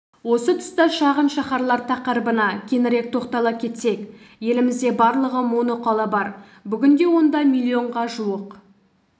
осы тұста шағын шаһарлар тақырыбына кеңірек тоқтала кетсек елімізде барлығы моноқала бар бүгінде онда миллионға жуық